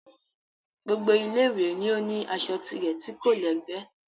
Gbogbo Ilé ìwé ni ó ní aṣọ tirẹ̀ tí kò lẹ́gbẹ́